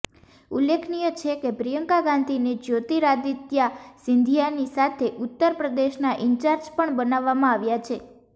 ઉલ્લેખનીય છે કે પ્રિયંકા ગાંધીને જ્યોતિરાદિત્યા સિંધિયાની સાથે ઉત્તર પ્રદેશના ઇન્ચાર્જ પણ બનાવવામાં આવ્યા છે